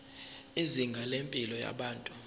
izinga lempilo yabantu